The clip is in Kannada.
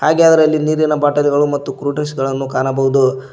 ಹಾಗೆ ಅದರಲ್ಲಿ ನೀರಿನ ಬಾಟಲ್ ಗಳು ಮತ್ತು ಕೂಲ್ ಡ್ರಿಂಕ್ಸ್ ಗಳನ್ನು ಕಾಣಬಹುದು.